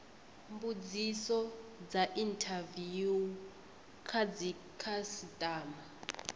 mbudziso dza inthaviwu kha dzikhasitama